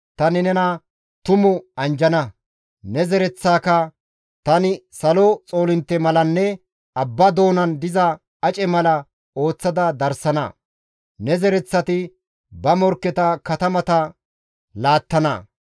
tani nena tumu anjjana; ne zereththaaka tani salo xoolintte malanne abba doonan diza ace mala ooththada darsana; ne zereththati ba morkketa katamata laattana.